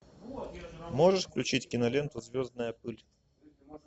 можешь включить киноленту звездная пыль